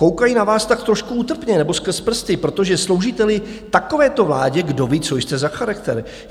"Koukají na vás tak trošku útrpně nebo skrz prsty, protože sloužíte-li takovéto vládě, kdoví, co jste za charakter.